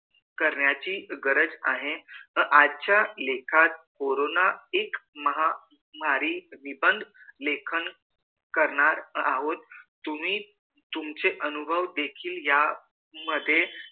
करण्याची गरज आहे व आजच्या लेखात कोरोना एक महामारी निबंध लेखन करणार आहोत तुम्ही तुमचे अनुभव देखील यामध्ये लिहू